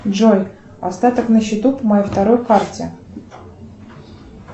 джой остаток на счету по моей второй карте